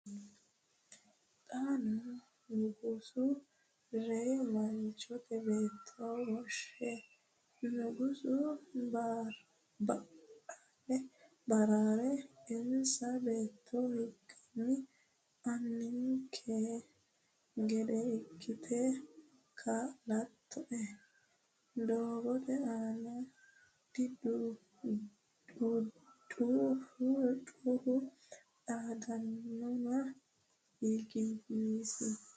Xaano nugusu, reyi manchi beetto woshshe, nugusu ba’raa’ra eennasi beettu higanni “Annikki gede ikkite kaa’lattoe?” doogote aana dhudhuufunni xaadeenna higi yiisini?